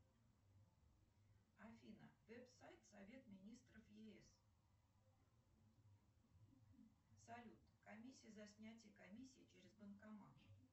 афина вэб сайт совет министров еэс салют комиссия за снятие комиссии через банкомат